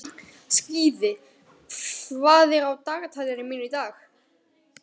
Skíði, hvað er á dagatalinu mínu í dag?